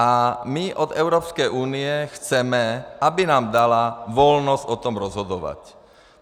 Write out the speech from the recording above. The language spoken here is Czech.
A my od Evropské unie chceme, aby nám dala volnost o tom rozhodovat.